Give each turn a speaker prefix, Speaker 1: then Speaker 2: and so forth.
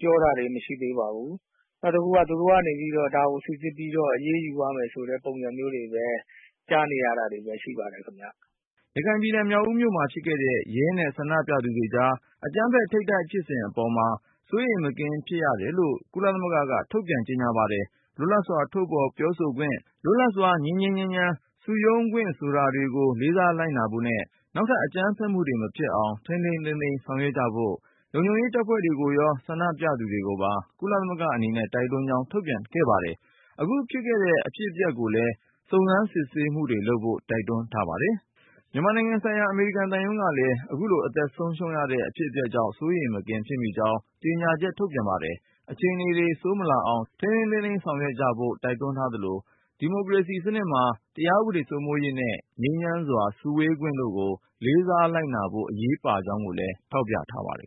Speaker 1: ပြောတာတွေ မရှိသေးပါဘူး။ နောက်တခုက သူတို့ကနေပြီးတော့ ဒါကို စိစစ်ပြီးတော့ အရေးယူသွားမယ်ဆိုတဲ့ ပုံစံမျိုးတွေပဲ ကြားနေရတာတွေပဲ ရှိပါတယ်ခင်ဗျ
Speaker 2: ။" ရခိုင်ပြည်နယ် မြောက်ဦးမြို့မှာဖြစ်ခဲ့တဲ့ ရဲနဲ့ ဆန္ဒပြသူတွေကြား အကြမ်းဖက်ထိပ်တိုက်ဖြစ်မှုအပေါ်မှာ စိုးရိမ်မကင်းဖြစ်တယ်လို့ ကုလသမဂ္ဂက ထုတ်ပြန်ပါတယ်။ လွတ်လပ်စွာ ထုတ်ဖော်ပြောဆိုခွင့်၊ လွတ်လပ်စွာ ငြိမ်းငြိမ်းချမ်းချမ်း စုရုံးခွင့်ဆိုတာတွေကို လေးစားလိုက်နာဖို့နဲ့ နောက်ထပ် အကြမ်းဖက်မှုတွေ မဖြစ်အောင် ထိမ်းထိမ်းသိမ်းသိမ်း ဆောင်ရွက်ကြဖို့ ၊ လုံခြုံရေး တပ်ဖွဲ့တွေကိုရော ဆန္ဒပြသူတွေကိုပါ ကုလသမဂ္ဂအနေနဲ့ တိုက်တွန်းကြောင်း ထုတ်ပြန်ပါတယ်။ အခုဖြစ်ခဲ့တဲ့ အဖြစ်အပျက်ကိုလည်း စုံစမ်း စစ်ဆေးမှုတွေလုပ်ဖို့ တိုက်တွန်း ထားပါတယ်။ မြန်မာနိုင်ငံဆိုင်ရာ အမေရိကန်သံရုံးကလည်း အခုလို အသက်ဆုံးရှုံးခဲ့ရတဲ့ အဖြစ်အပျက်ကြောင့် စိုးရိမ်မကင်းဖြစ်မိကြောင်း ကြေညာချက် ထုတ်ပြန် ပါတယ်။ အခြေအနေတွေ ဆိုးမလာအောင် ထိန်းထိန်းသိမ်းသိမ်း ဆောင်ရွက်ကြဖို့ တိုက်တွန်းသလို၊ ဒီမိုကရေစီစနစ်မှာ တရား ဥပဒေ စိုးမိုးရေးနဲ့ ငြိမ်းချမ်းစွာ စုဝေးခွင့်တို့ကို လေးစားလိုက်နာဖို့ အရေးပါကြောင်းကိုလည်း ထောက်ပြ ထားပါတယ်